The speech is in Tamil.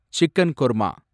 சிக்கன் குர்மா